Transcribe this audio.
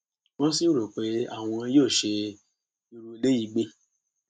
wọn sì rò pé àwọn yóò ṣe irú eléyìí gbé